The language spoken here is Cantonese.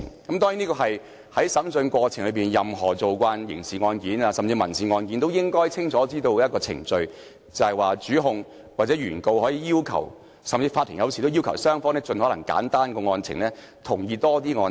當然，任何慣常處理刑事案件或民事案件的律師都應該清楚知道，在審訊過程中，主控或原告可要求，法庭有時也會要求雙方盡可能簡化案情，並提出多一些同意案情。